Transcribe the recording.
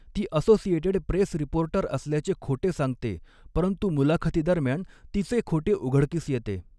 ती Associated Press reporter असल्याचे खोटे सांगते, परंतु मुलाखतीदरम्यान तिचे खोटे उघडकीस येते.